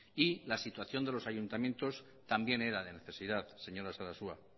y la situación de los ayuntamientos también era de necesidad señora sarasua